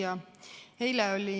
Hea küsija!